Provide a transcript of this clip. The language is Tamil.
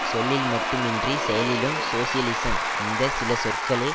சொல்லில் மட்டும் இன்றி செயலிலும் சோசியலிசம் இந்த சில சொற்களே